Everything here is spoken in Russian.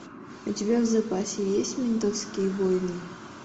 у тебя в запасе есть ментовские войны